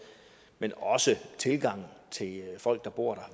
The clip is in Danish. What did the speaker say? men også tilgangen til folk der bor